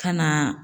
Ka na